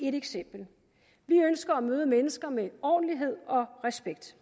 et eksempel vi ønsker at møde mennesker med ordentlighed og respekt